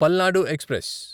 Palnadu express